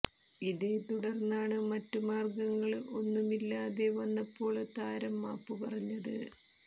ഇതേ തുടര്ന്നാണ് മറ്റു മാര്ഗങ്ങള് ഒന്നുമില്ലാതെ വന്നപ്പോള് താരം മാപ്പ് പറഞ്ഞത്